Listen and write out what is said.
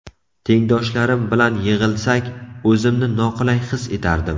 Tengdoshlarim bilan yig‘ilsak, o‘zimni noqulay his etardim.